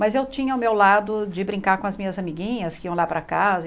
Mas eu tinha o meu lado de brincar com as minhas amiguinhas que iam lá para casa.